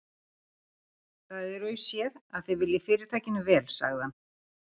Það er auðséð, að þið viljið Fyrirtækinu vel sagði hann.